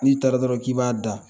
Ni taara dɔrɔn k'i b'a da